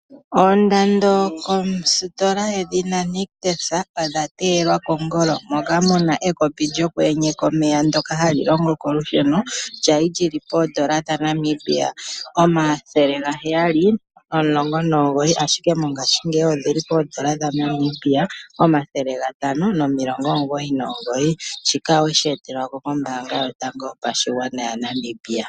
Oondando kositola yedhina Nictus odha teyelwa kongolo. Moka mu na ekopi lyoku enyeka omeya ndyoka hali longo kolusheno lya li li li pooN$ 719, ashike mongashingeyi oli li pooN$ 599. Shika owe shi etelwa kombaanga yotango yopashigwana yaNamibia.